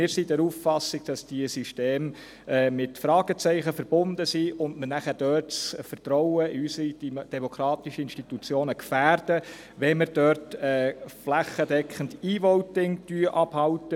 Wir sind der Auffassung, dass diese Systeme mit Fragezeichen verbunden sind und wir das Vertrauen in unsere demokratischen Institutionen gefährden, wenn wir flächendeckend E-Voting anbieten.